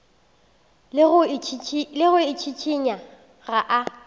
le go itšhišinya ga a